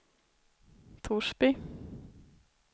Torsby